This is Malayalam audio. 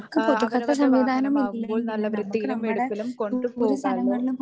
ആഹ് അവരവരുടെ വാഹനമാകുമ്പോൾ നല്ല വൃത്തിയിലും വെടിപ്പിലും കൊണ്ടുപോകാല്ലോ.